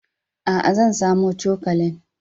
Aa, zan samo cokalin.